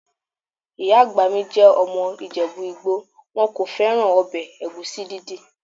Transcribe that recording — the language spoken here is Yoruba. Ìyá àgbà mi jẹ́ ọmọ ìjẹ̀bú-igbo, wọn kò fẹ́ràn ọbẹ̀ ẹ̀gúsí dídì.